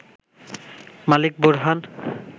Malik Borhan